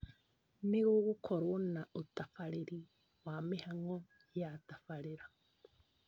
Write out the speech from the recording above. Nĩ gũgũkorwo na ũtabarĩri wa mĩhang'o ya tabarĩra